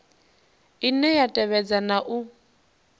ine ya tevhedza na u